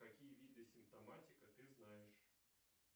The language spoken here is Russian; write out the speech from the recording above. какие виды симптоматика ты знаешь